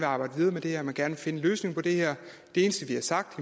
arbejde videre med det her at man gerne vil finde en løsning på det her det eneste vi har sagt